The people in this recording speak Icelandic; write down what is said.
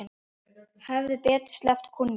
Hefði betur sleppt kúnni.